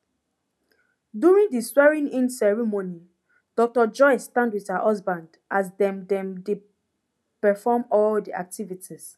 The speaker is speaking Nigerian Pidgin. during di swearingin ceremony dr joyce stand wit her husband as dem dem dey perofm all di activities